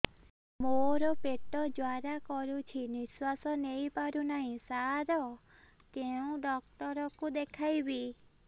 ମୋର ପେଟ ଜ୍ୱାଳା କରୁଛି ନିଶ୍ୱାସ ନେଇ ପାରୁନାହିଁ ସାର କେଉଁ ଡକ୍ଟର କୁ ଦେଖାଇବି